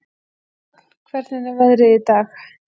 Hrafn, hvernig er veðrið í dag?